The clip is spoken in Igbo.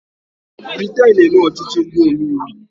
Briten na-eme ọchịchị ndị omeiwu.